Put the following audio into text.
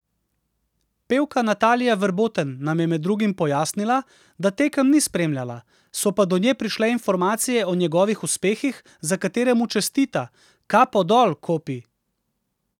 Pevka Natalija Verboten nam je med drugim pojasnila, da tekem ni spremljala, so pa do nje prišle informacije o njegovih uspehih, za katere mu čestita: 'Kapo dol, Kopi!